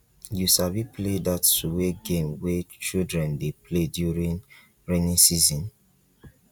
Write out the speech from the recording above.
you sabi play dat suwe game wey children dey play during rainy season